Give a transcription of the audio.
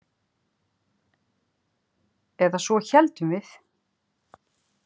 Eða svo héldum við.